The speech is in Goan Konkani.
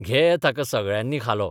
घे ताका सगळ्यांनी खालो.